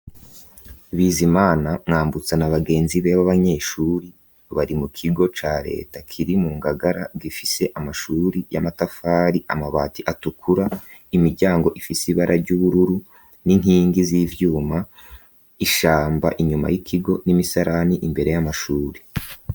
Bizimana ,Mwambutsa na bagenzi bebe abanyeshuri bari mu kigo ca leta kiri mu ngagara gifise amashuri y'amatafari amabati atukura imiryango ifise ibara ry'ubururu n'inkingi z'ivyuma ishamba inyuma y'ikigo n'imisarani imbere y'amashuri.